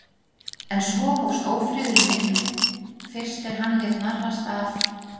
En svo hófst ófriðurinn mikli, fyrst er hann lét narrast af